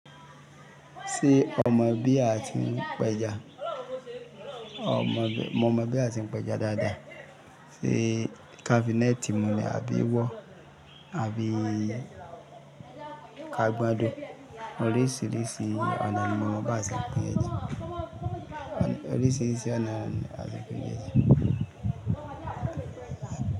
Ṣé o mọ̀ bí a ti ń pẹja? Mo mọ bí a ti ń pẹja dáadáa. Sé kafi neti mu ni àbí ìwọ àbí ka gbando. Oríṣiríṣi ọ̀nà ni mo mọ bí a ṣe n pẹja. Oríṣiríṣi ọ̀nà ni a ti ń pẹja.